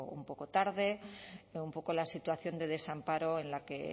un poco tarde un poco la situación de desamparo en la que